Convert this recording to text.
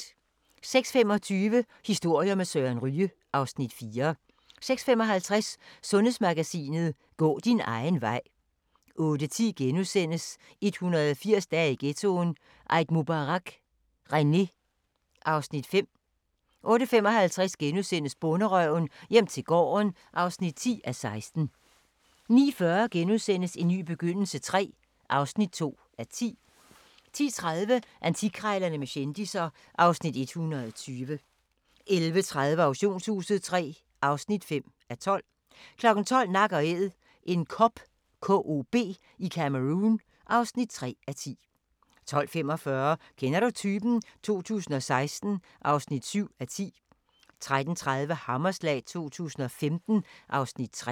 06:25: Historier med Søren Ryge (Afs. 4) 06:55: Sundhedsmagasinet: Gå din egen vej 08:10: 180 dage i ghettoen: Eid Mubarak, René (Afs. 5)* 08:55: Bonderøven - hjem til gården (10:16)* 09:40: En ny begyndelse III (2:10)* 10:30: Antikkrejlerne med kendisser (Afs. 120) 11:30: Auktionshuset III (5:12) 12:00: Nak & Æd – en kob i Cameroun (3:10) 12:45: Kender du typen? 2016 (7:10) 13:30: Hammerslag 2015 (Afs. 3)